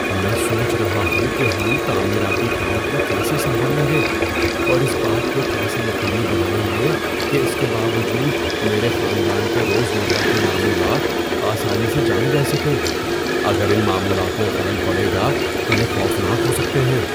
میں سوچ رہا ہوں کہ ہم تعمیراتی کام کو کیسے سنبھالیں گے اور اس بات کو کیسے یقینی بنائیں گے کہ اس کے باوجود میرے خاندان کے روزمرہ کے معمولات آسانی سے جاری رہ سکیں۔ اگر ان معمولات میں خلل پڑے گا تو یہ خوفناک ہو سکتے ہیں۔